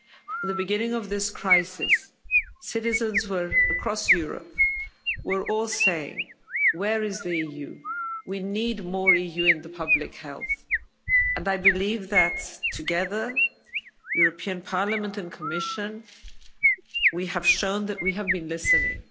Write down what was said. At the beginning of this crisis citizens across Europe were all saying, where is the EU? We need more EU in public health' and I believe that together, Parliament and the Commission, we have shown that we have been listening.